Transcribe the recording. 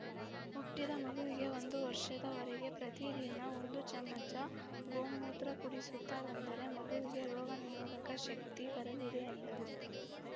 ಹುಟ್ಟಿದ ಮಗುವಿಗೆ ಒಂದು ವರ್ಷದವರೆಗೆ ಪ್ರತಿದಿನ ಒಂದು ಚಮಚ ಗೋಮೂತ್ರ ಕುಡಿಸುತ್ತಾ ಬಂದರೆ ಮಗುವಿಗೆ ರೋಗ ನಿರೋಧಕ ಶಕ್ತಿ ಬರಲಿದೆ ಎಂದರು